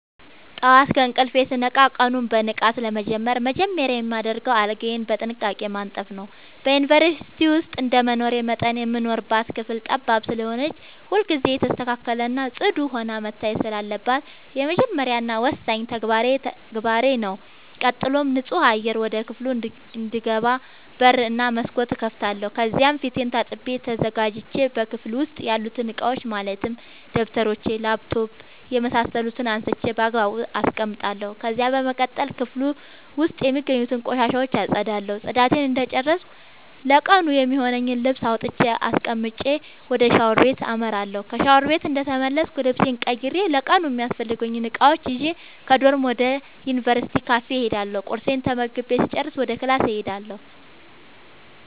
ጠዋት ከእንቅልፌ ስነቃ ቀኑን በንቃት ለመጀመር መጀመሪያ የማደርገው አልጋዬን በጥንቃቄ ማንጠፍ ነዉ። በዩንቨርስቲ ዉስጥ እንደመኖሬ መጠን የምንኖርባት ክፍል ጠባብ ስለሆነች ሁልጊዜ የተስተካከለ እና ፅዱ ሆና መታየት ስላለባት የመጀመሪያ እና ወሳኙ ተግባሬ ተግባሬ ነዉ። ቀጥሎም ንፁህ አየር ወደ ክፍሉ እንዲገባ በር እና መስኮት እከፍታለሁ ከዚያም ፊቴን ታጥቤ ተዘጋጅቼ በክፍሉ ዉስጥ ያሉትን እቃዎች ማለትም ደብተሮች: ላፕቶፕ የምሳሰሉትን አንስቼ ባግባቡ አስቀምጣለሁ። ከዚያም በመቀጠል ክፍሉ ዉስጥ የሚገኙትን ቆሻሻ አፀዳለሁ ፅዳቴን እንደጨረስኩ ለቀኑ የሚሆነኝን ልብስ አውጥቼ አስቀምጬ ወደ ሻወር ቤት አመራለሁ። ከሻወር ቤት እንደተመለስኩ ልብሴን ቀይሬ ለቀኑ የሚያስፈልጉኝን እቃዎች ይዤ ከዶርም ወደ ዩንቨርስቲው ካፌ እሄዳለሁ ቁርሴን ተመግቤ ስጨርስ ወደ ክላስ እሄዳለሁ።